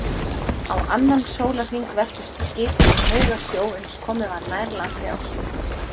Á annan sólarhring veltust skipin í haugasjó, uns komið var nær landi á sunnudegi.